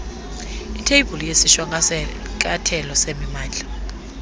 itheyibhuli yesishwankathelo semimandla